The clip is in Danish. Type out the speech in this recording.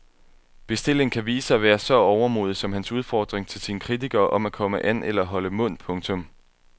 Bestillingen kan vise at være så overmodig som hans udfordring til sine kritikere om at komme an eller holde mund. punktum